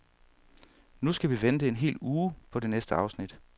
Nu skal vi vente en hel uge på det næste afsnit.